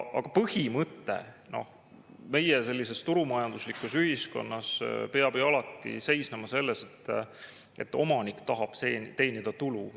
Aga põhimõte meie sellises turumajanduslikus ühiskonnas peab alati seisnema selles, et omanik tahab teenida tulu.